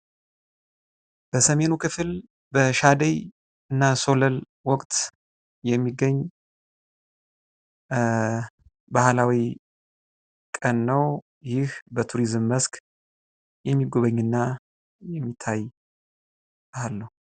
በሰሜኑ ክፍል በሻደይና ሸለል ወቅት የሚገኝ ባህላዊ ቀን ነው። ይህ መስክ የሚጎበኝና የሚታይ አለው።